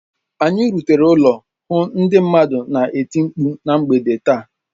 Anyị rutere ụlọ hụ ndị mmadụ na-eti mkpụ ná mgbede taa